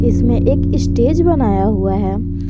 इसमें एक स्टेज बनाया हुआ है।